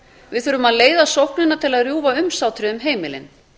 við þurfum að leiða sóknina til að rjúfa umsátrið um heimilin